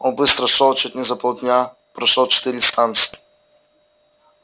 он быстро шёл чуть не за полдня прошёл четыре станции